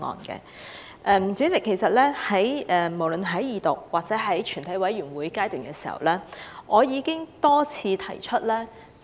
主席，無論是在《條例草案》二讀或在全體委員會審議階段時，我已多次提出意見。